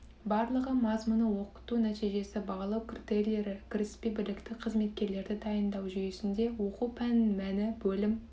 барлығы тақырып мазмұны оқыту нәтижесі бағалау критерийлері кіріспе білікті қызметкерлерді дайындау жүйесінде оқу пәнінің мәні бөлім